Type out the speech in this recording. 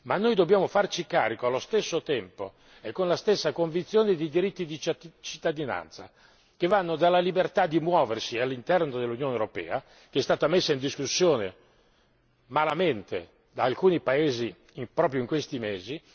Ma noi dobbiamo farci carico allo stesso tempo e con la stessa convinzione dei diritti di cittadinanza, tra cui la libertà di muoversi all'interno dell'Unione europea, che è stata messa in discussione malamente da alcuni paesi proprio in questi mesi.